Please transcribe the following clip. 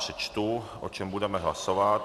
Přečtu, o čem budeme hlasovat.